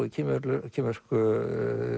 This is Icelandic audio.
í kínversku kínversku